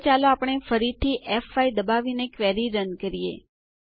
હવે ચાલો આપણે ફરીથી ફ5 દબાવીને ક્વેરી રન કરીએ